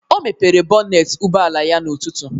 O mepere bọnet ụgbọala ya n'ụtụtụ